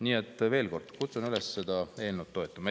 Nii et veel kord kutsun üles seda eelnõu toetama.